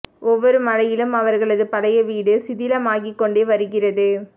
ஒவ்வொரு மழையிலும் அவர்களது பழைய வீடு சிதிலாமாகிக் கொண்டே வருகிறது